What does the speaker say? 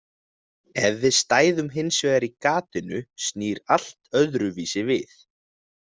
Ef við stæðum hins vegar í gatinu snýr allt öðruvísi við.